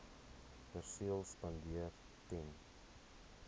perseel spandeer ten